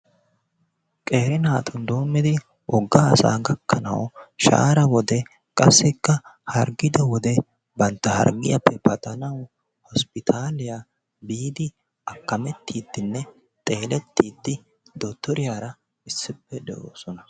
Qeeri naatun doommidi wogga asa gakkanawu shaahaara wode qassikka harggido wode bantta harggiyappe paxanawu hosppitaaliya biide akkamettiidinne xeelettiiddi dottoriyaara issippe doosona.